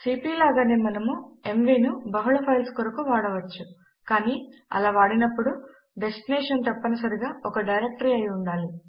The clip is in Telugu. సీపీ లాగానే మనము ఎంవీ ను బహుళ ఫైల్స్ కొరకు వాడవచ్చు కానీ అలా వాడినప్పుడు డెస్టినేషన్ తప్పనిసరిగా ఒక డైరెక్టరీ అయి ఉండాలి